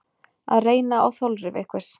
Að reyna á þolrif einhvers